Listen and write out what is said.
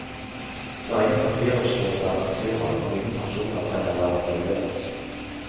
Det er ingen papirutskrifter av fakturaen, og ingen personer trenger være involvert.